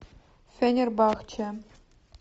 фенербахче